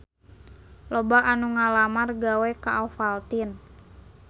Loba anu ngalamar gawe ka Ovaltine